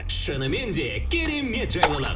шынымен де керемет жайлылық